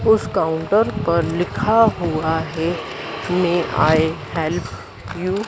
उस काउंटर पर लिखा हुआ है मेय आई हेल्प यू ।